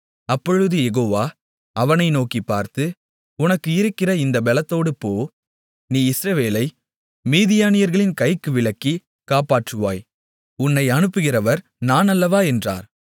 அப்பொழுது யெகோவா அவனை நோக்கிப் பார்த்து உனக்கு இருக்கிற இந்தப் பெலத்தோடு போ நீ இஸ்ரவேலை மீதியானியர்களின் கைக்கு விலக்கிக் காப்பாற்றுவாய் உன்னை அனுப்புகிறவர் நான் அல்லவா என்றார்